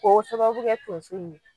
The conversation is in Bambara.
K'o sababu kɛ tonso in ye.